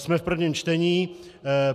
Jsme v prvém čtení.